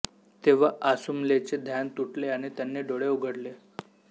तेव्हा आसुमलचे ध्यान तुटले आणि त्यांनी डोळे उघडले